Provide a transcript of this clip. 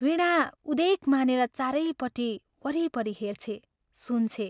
वीणा उदेक मानेर चारैपट्टि, वरिपरि हेर्छे, सुन्छे।